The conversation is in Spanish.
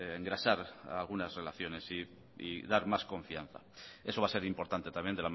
engrasar algunas relaciones y dar más confianza eso va a ser importante también